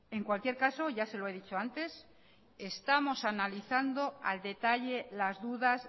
en cualquier caso ya se lo he dicho antes estamos analizando al detalle las dudas